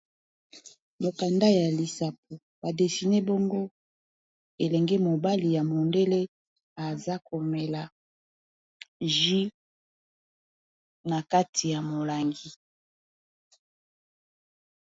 Mokanda ya Lisapo ba dessine bongo Elenge mobali ya mondele azomela masanga